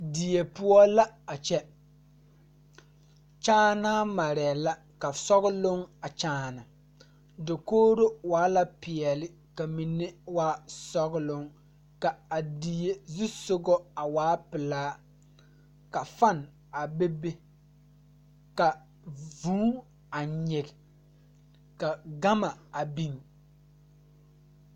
Die poɔ la a kyɛ kyaanaa maree la ka sɔgloŋ a kyaane dokogro waa la peɛɛle ka mine waa sɔgloŋ ka a die zusugɔ a waa pilaa ka fan a bebe ka vūū a nyige ka gama a biŋ.